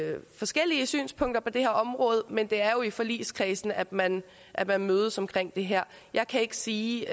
forskellige synspunkter på det her område men det er jo i forligskredsen at man at man mødes om det her jeg kan ikke sige